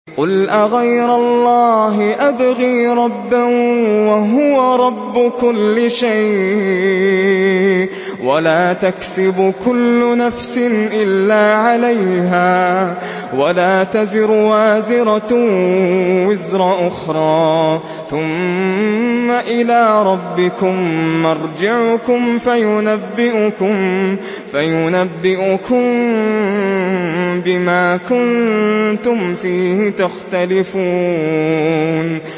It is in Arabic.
قُلْ أَغَيْرَ اللَّهِ أَبْغِي رَبًّا وَهُوَ رَبُّ كُلِّ شَيْءٍ ۚ وَلَا تَكْسِبُ كُلُّ نَفْسٍ إِلَّا عَلَيْهَا ۚ وَلَا تَزِرُ وَازِرَةٌ وِزْرَ أُخْرَىٰ ۚ ثُمَّ إِلَىٰ رَبِّكُم مَّرْجِعُكُمْ فَيُنَبِّئُكُم بِمَا كُنتُمْ فِيهِ تَخْتَلِفُونَ